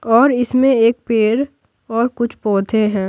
और इसमें एक पेड़ और कुछ पौधे हैं।